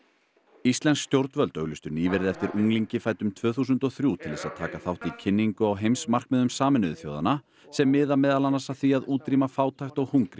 íslensk stjórnvöld auglýstu nýverið eftir unglingi fæddum tvö þúsund og þrjú til þess að taka þátt í kynningu á heimsmarkmiðum Sameinuðu þjóðanna sem miða meðal annars að því að útrýma fátækt og hungri